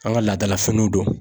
An ka laadalafiniw don.